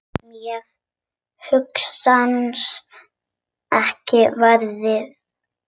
Mér hugnast ekki veðrið.